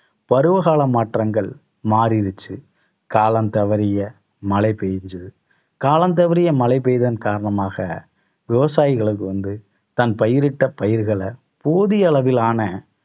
பருவகால மாற்றங்கள் மாறிடுச்சு. காலம் தவறிய மழை பெய்ஞ்சது காலம் தவறிய மழை பெய்ததன் காரணமாக விவசாயிகளுக்கு வந்து தன் பயிரிட்ட பயிர்களை போதிய அளவிலான